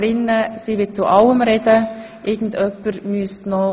Nun hat die Kommissionspräsidentin das Wort.